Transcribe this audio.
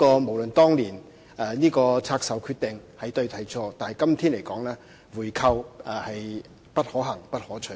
無論當年拆售的決定是對或是錯，在今天來說，回購是不可行和不可取的。